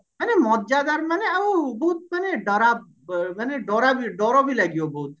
ମାନେ ମଜାଦାର ମାନେ ଆଉ ବହୁତ ମାନେ ଡରାବମାନେ ଡର ଡରବି ଲାଗିବା ବହୁତ